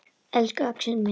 Elsku Axel minn.